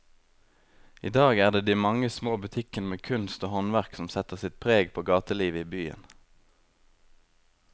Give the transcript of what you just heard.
I dag er det de mange små butikkene med kunst og håndverk som setter sitt preg på gatelivet i byen.